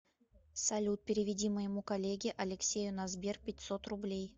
салют переведи моему коллеге алексею на сбер пятьсот рублей